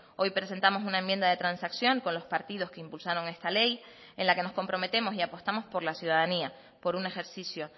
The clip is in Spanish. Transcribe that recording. hoy presentamos una enmienda de transacción con los partidos que impulsaron esta ley en la que nos comprometemos y apostamos por la ciudadanía por un ejercicio